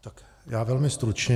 Tak já velmi stručně.